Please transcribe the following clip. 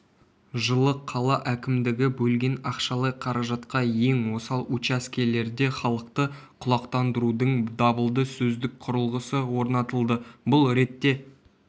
жылы қала әкімдігі бөлген ақшалай қаражатқа ең осал учаскелерде халықты құлақтандырудың дабылды-сөздік құрылғысы орнатылды бұл ретте